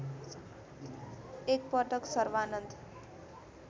एक पटक सर्वानन्द